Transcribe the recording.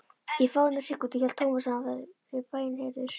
Í fáeinar sekúndur hélt Thomas að hann hefði verið bænheyrður.